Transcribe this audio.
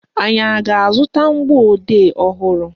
Anyị a ga-azụta mgbọodee ọhụrụ?